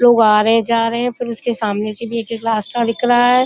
लोग आ रहे हैं। जा रहे हैं। फिर उसके सामने से भी एक एक रास्ता है।